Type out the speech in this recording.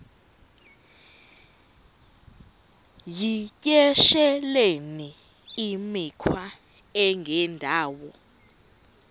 yityesheleni imikhwa engendawo